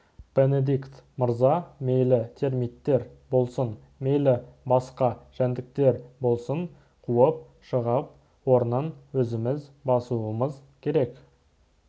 бенедикт мырза мейлі термиттер болсын мейлі басқа жәндіктер болсын қуып шығып орнын өзіміз басуымыз керек